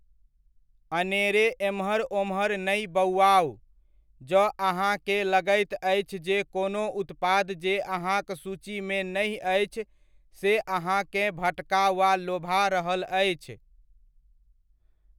अनेरे एम्हर ओम्हर नहि बौआउ, जँ अहाँकेँ लगैत अछि जे कोनो उत्पाद जे अहाँक सूचीमे नहि अछि से अहाँकेँ भटका वा लोभा रहल अछि।